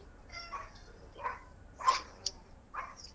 .